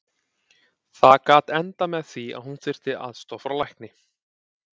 Það gat endað með því að hún þyrfti aðstoð frá lækni.